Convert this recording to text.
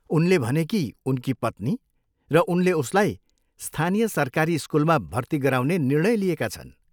उनले भने कि उनकी पत्नी र उनले उसलाई स्थानीय सरकारी स्कुलमा भर्ती गराउने निर्णय लिएका छन्।